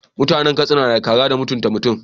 Mutanan katsina nada kara da mutunta mutun